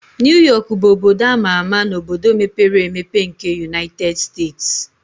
New York bụ obodo ama ama na obodo mepere emepe na United States